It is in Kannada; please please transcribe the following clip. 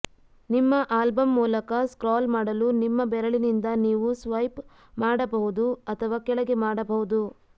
ನಿಮ್ಮ ಆಲ್ಬಮ್ ಮೂಲಕ ಸ್ಕ್ರಾಲ್ ಮಾಡಲು ನಿಮ್ಮ ಬೆರಳಿನಿಂದ ನೀವು ಸ್ವೈಪ್ ಮಾಡಬಹುದು ಅಥವಾ ಕೆಳಗೆ ಮಾಡಬಹುದು